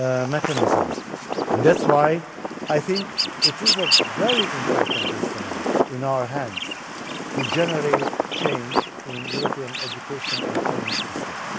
mechanism, and that is why I think it is a very important instrument in our hands to generate change in European education and training systems.